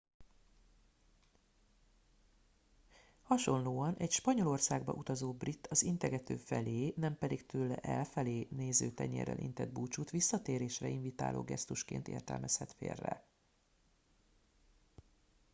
hasonlóan egy spanyolországba utazó brit az integető felé nem pedig tőle elfelé néző tenyérrel intett búcsút visszatérésre invitáló gesztusként értelmezhet félre